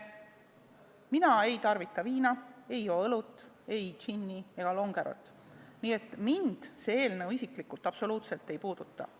Mina ei tarvita viina, ei joo õlut, ei džinni ega longerot, nii et mind see eelnõu isiklikult absoluutselt ei puuduta.